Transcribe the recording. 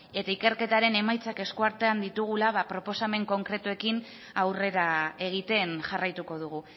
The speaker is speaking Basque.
eta ikerketaren emaitzak eskuartean ditugula proposamen konkretuekin aurrera egiten jarraituko dugu